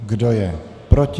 Kdo je proti?